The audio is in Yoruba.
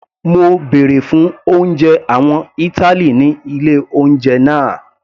Mo bèrè fún oúnjẹ àwọn ìtàlí ní ilé oúnjẹ náà.